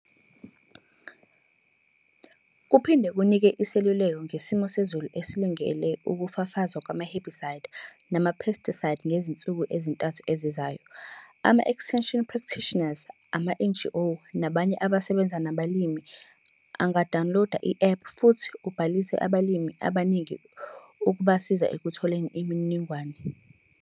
Kuphinde kunike iseluleko ngesimo sezulu esilungele ukufafazwa kwama-herbicide nama-pesticide ngezinsuku ezintathu ezizayo. Ama-Extension practitioners, ama-NGO nabanye abasebenza nabalimi anga-dawunloda i-app futhi ubhalise abalimi abaningi ukubasiza ekutholeni imininingwane.